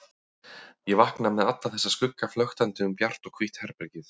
Ég vakna með alla þessa skugga flöktandi um bjart og hvítt herbergið.